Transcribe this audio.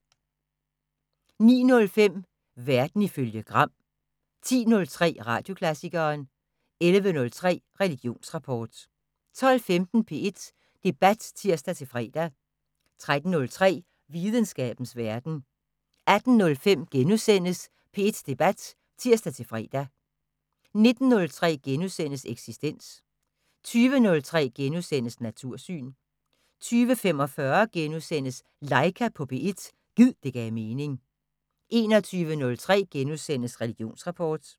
09:05: Verden ifølge Gram 10:03: Radioklassikeren 11:03: Religionsrapport 12:15: P1 Debat (tir-fre) 13:03: Videnskabens Verden 18:05: P1 Debat *(tir-fre) 19:03: Eksistens * 20:03: Natursyn * 20:45: Laika på P1 – gid det gav mening * 21:03: Religionsrapport *